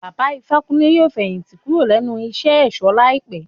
Baba Ifákúnle yóò fẹ̀yìn tì kúrò nínú iṣé ẹ̀ṣọ̀ láìpé.